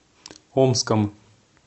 омском